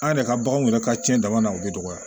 An yɛrɛ ka baganw yɛrɛ ka cɛnban na u bɛ dɔgɔya